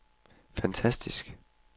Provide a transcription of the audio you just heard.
fantastisk